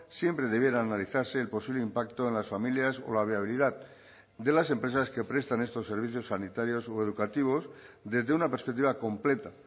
siempre debiera analizarse el posible impacto en las familias o la viabilidad de las empresas que prestan estos servicios sanitarios o educativos desde una perspectiva completa